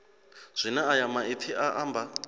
zwine ayo maipfi a amba